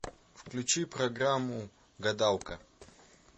включи программу гадалка